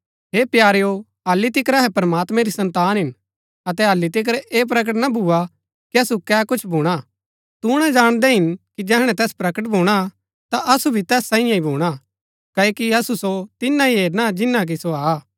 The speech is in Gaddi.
हे प्यारेओ हल्ली तिकर अहै प्रमात्मैं री सन्तान हिन अतै हल्ली तिकर ऐह प्रकट ना भुआ कि असु कै कुछ भूणा तूणा जाणदै हिन कि जैहणै तैस प्रकट भूणा ता असु भी तैस सांईये ही भूणा क्ओकि असु सो तिनां ही हेरना जिन्‍ना कि सो हा